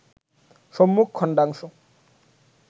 সম্মুখ খণ্ডাংশ